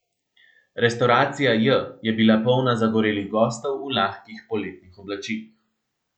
Restavracija J je bila polna zagorelih gostov v lahkih poletnih oblačilih.